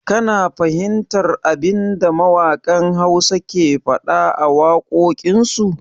Ka na fahimtar abinda mawaƙan Hausa ke faɗa a wakokin su?